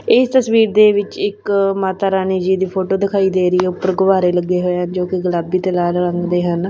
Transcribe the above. ਇਸ ਤਸਵੀਰ ਦੇ ਵਿੱਚ ਇੱਕ ਮਾਤਾ ਰਾਣੀ ਜੀ ਦੀ ਫੋਟੋ ਦਿਖਾਈ ਦੇ ਰਹੀ ਆ ਉੱਪਰ ਗੁਬਾਰੇ ਲੱਗੇ ਹੋਏ ਹਨ ਜੋ ਕਿ ਗੁਲਾਬੀ ਤੇ ਲਾਲ ਰੰਗ ਦੇ ਹਨ।